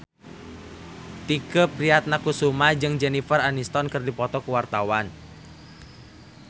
Tike Priatnakusuma jeung Jennifer Aniston keur dipoto ku wartawan